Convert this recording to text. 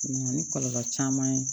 Na ni kɔlɔlɔ caman ye